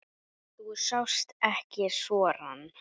Þú sást ekki sorann.